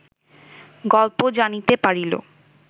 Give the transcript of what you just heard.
গল্প জানিতে পারিল